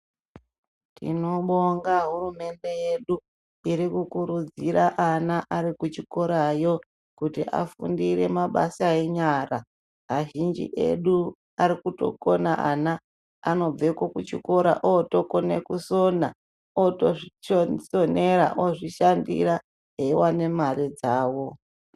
Tino bonga hurumende yedu, iriku kurudzira ana ari kuchikorayo, kuti afundire mabasa enyara. Azhinji edu ari kutokona ana, anobveko kuchikora otokone kusona. Ooto zvisonera, ozvishandira, eiwane mare dzawo.